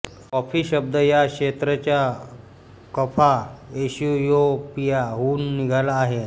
coffee शब्द या क्षेत्र च्या कफ़ा इथियोपिया हुन निघाला आहे